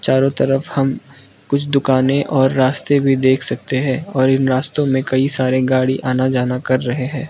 चारों तरफ हम कुछ दुकानें और रास्ते भी देख सकते हैं और इन रास्तों में कई सारे गाड़ी आना जाना कर रहे हैं।